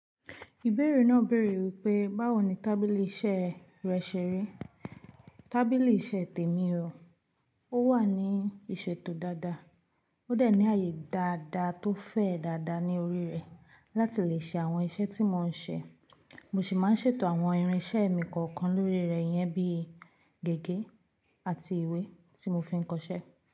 Ìbẹ̀rẹ̀ náà béèrè wípé, báwo ni tábìlì iṣẹ́ rẹ ṣẹ̀rí? Tábìlì iṣẹ́ tèmi o, ó wà ní ìṣètò dáadáa, ó de ní ààyè dáadáa tó fẹ̀ dáadáa ní orí rẹ̀ láti lè ṣe àwọn iṣẹ́ tí mò ń ṣe. Mo sì máa ń ṣètò àwọn irinṣẹ́ mi kọ̀ọ̀kan lórí rẹ̀ yẹn bí gègé àti ìwé tí mo fi ń kọṣẹ́.